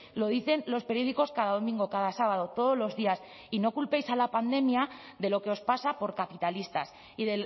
lo dicen los periódicos cada domingo cada sábado todos los días y no culpéis a la pandemia de lo que os pasa por capitalistas y